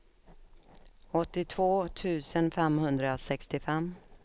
åttiotvå tusen femhundrasextiofem